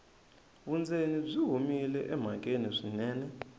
vundzeni byi humile emhakeni swinene